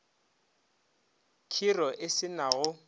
khiro e se na go